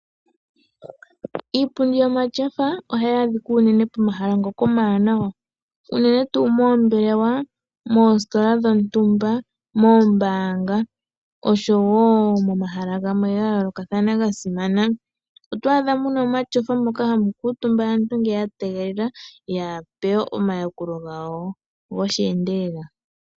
Iipundi yomatyofa ohayi adhika unene pomahala omawanawa unene tuu moombelewa, moositola dhontumba ,moombanga oshowo momahala gamwe ga yoolokathana ga simana. Oto adha muna omatyofa moka hamu kuutumba aantu ngele ya tegelela ya pewe omayakulo gawo gosheendelela.